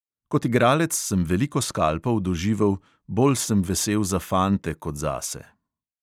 Kot igralec sem veliko skalpov doživel, bolj sem vesel za fante kot zase.